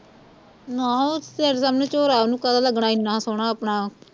ਨਾ ਤੇਰੇ ਸਾਹਮਣੇ ਝੋਰਾ ਉਹਨੂੰ ਕਾਹਦਾ ਲੱਗਣਾ ਇੰਨਾ ਸੋਹਣਾ ਆਪਣਾ